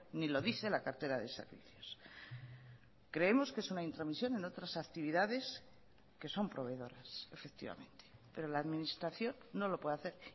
ni lo dice la cartera de servicios creemos que es una intromisión en otras actividades que son proveedores efectivamente pero la administración no lo puede hacer